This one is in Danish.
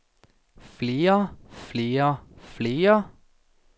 flere flere flere